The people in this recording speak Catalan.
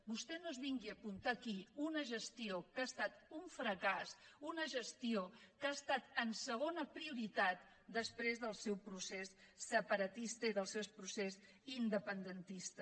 vostè no es vingui a apuntar aquí una gestió que ha estat un fracàs una gestió que ha estat en segona prioritat després del seu procés separatista i del seu procés independentista